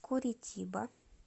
куритиба